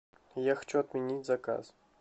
я хочу отменить заказ